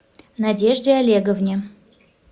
надежде олеговне